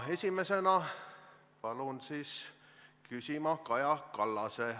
Esimesena palun küsida Kaja Kallasel.